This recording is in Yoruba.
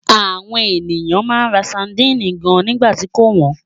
Àwọn ènìyàn máa ń ra sadínì gan nígbà tí kò wọ́n.